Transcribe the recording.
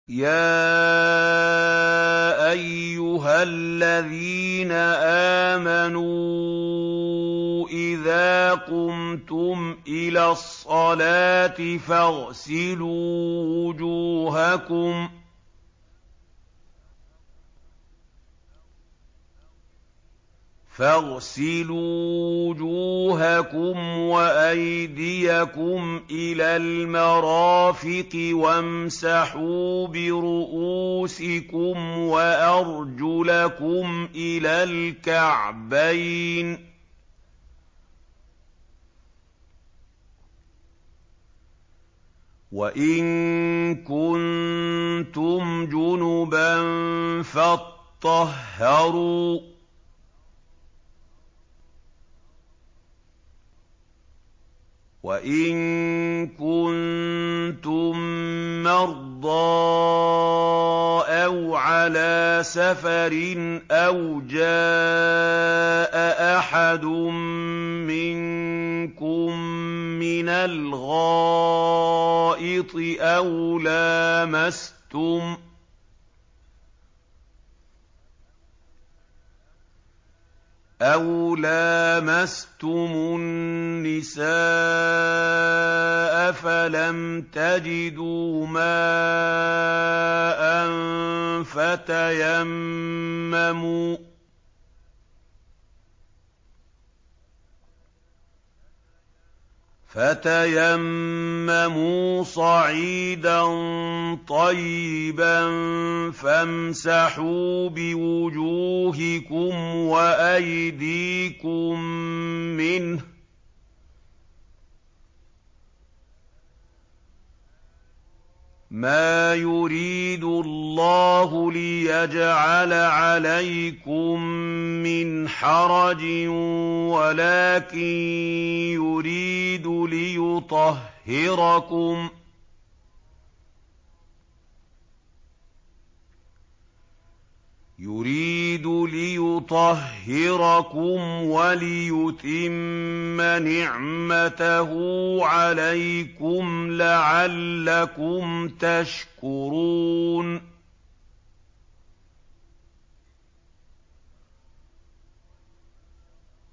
يَا أَيُّهَا الَّذِينَ آمَنُوا إِذَا قُمْتُمْ إِلَى الصَّلَاةِ فَاغْسِلُوا وُجُوهَكُمْ وَأَيْدِيَكُمْ إِلَى الْمَرَافِقِ وَامْسَحُوا بِرُءُوسِكُمْ وَأَرْجُلَكُمْ إِلَى الْكَعْبَيْنِ ۚ وَإِن كُنتُمْ جُنُبًا فَاطَّهَّرُوا ۚ وَإِن كُنتُم مَّرْضَىٰ أَوْ عَلَىٰ سَفَرٍ أَوْ جَاءَ أَحَدٌ مِّنكُم مِّنَ الْغَائِطِ أَوْ لَامَسْتُمُ النِّسَاءَ فَلَمْ تَجِدُوا مَاءً فَتَيَمَّمُوا صَعِيدًا طَيِّبًا فَامْسَحُوا بِوُجُوهِكُمْ وَأَيْدِيكُم مِّنْهُ ۚ مَا يُرِيدُ اللَّهُ لِيَجْعَلَ عَلَيْكُم مِّنْ حَرَجٍ وَلَٰكِن يُرِيدُ لِيُطَهِّرَكُمْ وَلِيُتِمَّ نِعْمَتَهُ عَلَيْكُمْ لَعَلَّكُمْ تَشْكُرُونَ